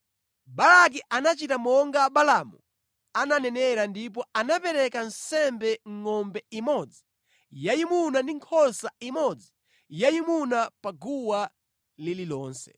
Balaki anachita monga Balaamu ananenera ndipo anapereka nsembe ngʼombe imodzi yayimuna ndi nkhosa imodzi yayimuna pa guwa lililonse.